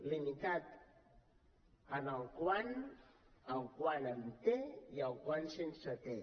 limitat en el quant el quant amb te i el quan sense te